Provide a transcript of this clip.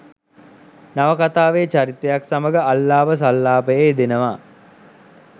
නවකතාවේ චරිතයක් සමඟ අල්ලාප සල්ලාපයේ යෙදෙනවා.